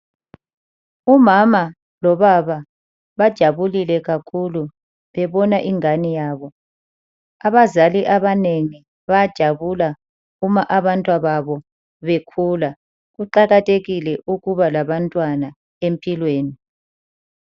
Umama lobaba bajabulile kakhulu bebona ingane yabo. Abazali abanengi bayajabula uma abantwana babo bekhula. Kuqakathekile ukuba labantwana empilweni.